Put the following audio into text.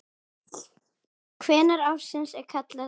Hvenær ársins er kaldast þarna?